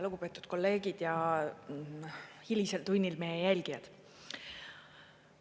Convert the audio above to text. Lugupeetud kolleegid ja hilisel tunnil meie jälgijad!